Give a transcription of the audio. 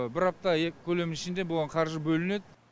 бір апта екі көлем ішінде бұған қаржы бөлінеді